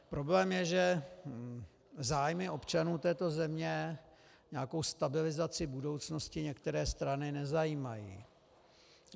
Problém je, že zájmy občanů této země, nějaká stabilizace budoucnosti některé strany nezajímají.